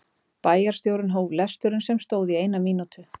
Bæjarstjórinn hóf lesturinn sem stóð í eina mínútu.